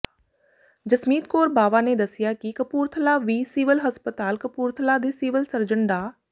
ਜਸਮੀਤ ਕੌਰ ਬਾਵਾ ਨੇ ਦੱਸਿਆ ਕਿ ਕਪੂਰਥਲਾ ਵਿ ਸਿਵਲ ਹਸਪਤਾਲ ਕਪੂਰਥਲਾ ਦੇ ਸਿਵਲ ਸਰਜਨ ਡਾ